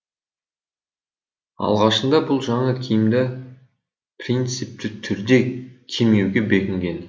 алғашында бұл жаңа киімді принципті түрде кимеуге бекінген